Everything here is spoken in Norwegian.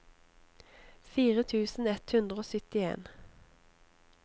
fire tusen ett hundre og syttien